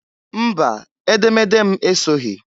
Mba! Edemede m esoghi.